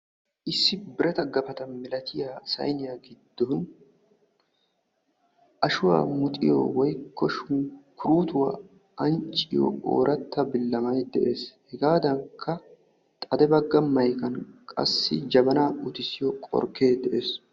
Issi birata gappata milatiya sayniya giddon ashuwa muxiyo woykko shunkkurutuwa ancciyo ooratta billamay dee's , hegaadankka xadde bagga maykkan qassi jabanaa uttissiyo qorkkee de'ees.